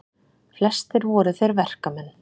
Flestir voru þeir verkamenn.